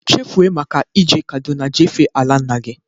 Chefuo maka e je Kaduna jee fee ala nna gị